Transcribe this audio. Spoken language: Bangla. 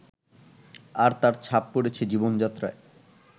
আর তার ছাপ পড়েছে জীবনযাত্রায়